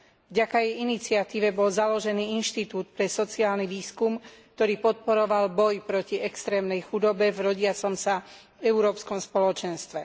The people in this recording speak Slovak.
Vďaka jej iniciatíve bol založený inštitút pre sociálny výskum, ktorý podporoval boj proti extrémnej chudobe v rodiacom sa európskom spoločenstve.